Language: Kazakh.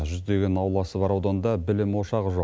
жүздеген ауласы бар ауданда білім ошағы жоқ